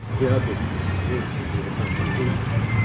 я тут вечный блять нахуй житель